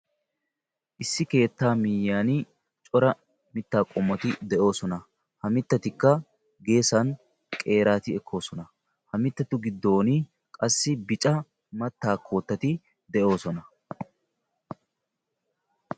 issi keettaa miyyan cora mittaa qommoti de'oosona. ha mittatikka geesan qeeraati ekkoosona. ha mittatu giddon qassi bica mattaa koottati de'oosona.